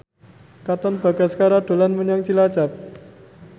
Katon Bagaskara dolan menyang Cilacap